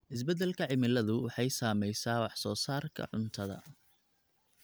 Isbeddelka cimiladu waxay saamaysaa wax soo saarka cuntada.